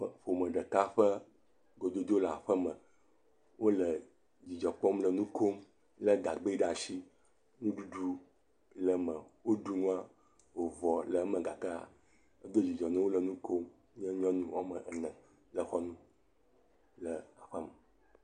Ƒome ɖeka ƒe gododo le aƒeme. Wole dzidzɔ kpɔm le nu kom le gagbɛ ɖe asi. Nuɖuɖu le eme woɖu nua vɔ le eme gake edo dzidzɔ na wo, wole nu kom. Nye nyɔnu ame ene le xɔ nu.